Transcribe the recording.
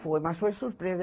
Foi, mas foi surpresa.